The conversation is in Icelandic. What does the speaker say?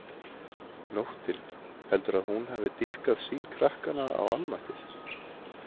Nóttin, heldurðu að hún hafi dýpkað sýn krakkanna á almættið?